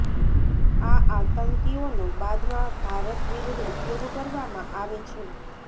આ આતંકીઓનો બાદમાં ભારત વિરુદ્ધ ઉપયોગ કરવામાં આવે છે